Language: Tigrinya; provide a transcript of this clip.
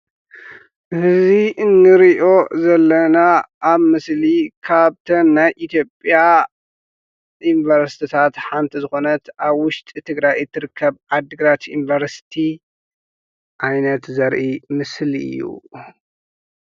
እዚ እንሪኦ ዘለና ኣብ ምስሊ ካብተን ናይ ኢትዮጵያ ዩኒቨርስቲታት ሓንቲ ዝኮነት ኣብ ውሽጢ ትግራይ እትርከብ ዓዲ ግራት ዩኒቨርስቲ ዓይነት ዘርኢ ምስሊ እዩ።